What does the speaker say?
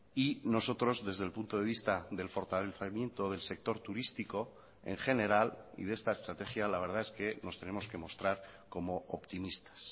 y nosotros desde el punto de vista del fortalecimiento del sector turístico en general y de esta estrategia la verdad es que nos tenemos que mostrar como optimistas